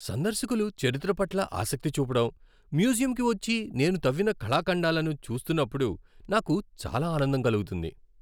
సందర్శకులు చరిత్ర పట్ల ఆసక్తి చూపడం, మ్యూజియంకు వచ్చి నేను తవ్విన కళాఖండాలను చూస్తున్నప్పుడు నాకు చాలా ఆనందం కలుగుతుంది.